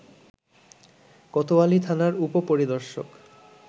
কোতোয়ালি থানার উপ-পরিদর্শক